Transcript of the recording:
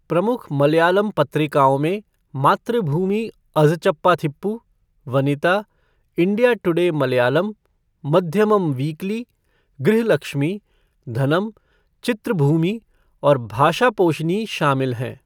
प्रमुख मलयालम पत्रिकाओं में Mathrubhumi Azhchappathippu, Vanitha, India Today Malayalam, Madhyamam weekly, Grihalakshmi, Dhanam, Chitrabhumi और भाषापोशिनी शामिल हैं।